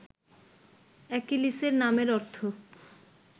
অ্যাকিলিসের নামের অর্থ